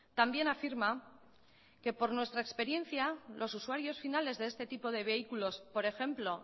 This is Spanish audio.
también afirma que por nuestra experiencia los usuarios finales de este tipo de vehículos por ejemplo